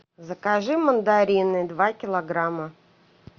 закажи мандарины два килограмма